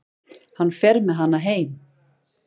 Hann fer með hana heim.